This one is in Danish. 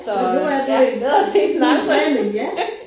Så ja bedre sent end aldrig